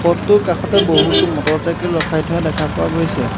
পথটোৰ কাষতে বহুতো মটৰ চাইকেল ৰখাই থোৱা দেখা পোৱা গৈছে।